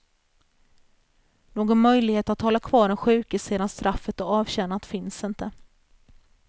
Någon möjlighet att hålla kvar den sjuke sedan straffet är avtjänat finns inte.